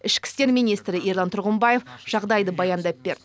ішкі істер министрі ерлан тұрғымбаев жағдайды баяндап берді